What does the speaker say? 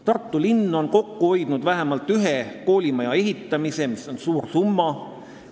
Tartu linn on kokku hoidnud vähemalt ühe koolimaja ehitamise raha, mis on suur summa.